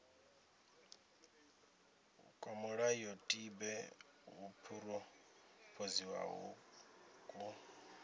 kwa mulayotibe wo phurophoziwaho ku